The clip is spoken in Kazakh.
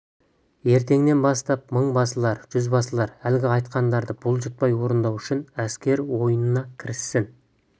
ертеңнен бастап мың басылар жүз басылар әлгі айтқандарды бұлжытпай орындау үшін әскер ойынына кіріссін